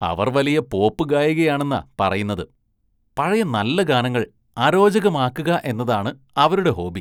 അവര്‍ വലിയ പോപ്പ് ഗായികയാണെന്നാ പറയുന്നത്, പഴയ നല്ല ഗാനങ്ങള്‍ അരോചകമാക്കുക എന്നതാണ് അവരുടെ ഹോബി.